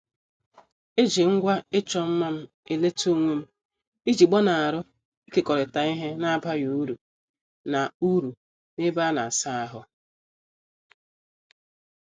Eji ngwa ịchọ mma m eleta onwem iji gbanari ikekorita ihe n' abaghị uru na- uru na- ebe ana- asa ahụ.